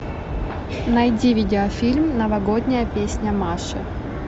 найди видеофильм новогодняя песня маши